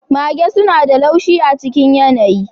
Mage suna da laushi a cikin yanayi.